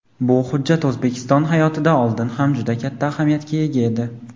Bu hujjat O‘zbekiston hayotida oldin ham juda katta ahamiyatga ega edi.